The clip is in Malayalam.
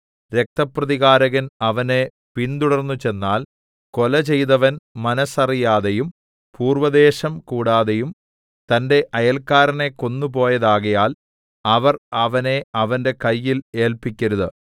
രക്തപ്രതികാരകൻ അവനെ പിന്തുടർന്നുചെന്നാൽ കൊലചെയ്തവൻ മനസ്സറിയാതെയും പൂർവ്വദ്വേഷം കൂടാതെയും തന്റെ അയൽക്കാരനെ കൊന്നു പോയതാകയാൽ അവർ അവനെ അവന്റെ കയ്യിൽ ഏല്പിക്കരുത്